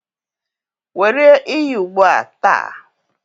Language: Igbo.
Were iyi ugbu a taa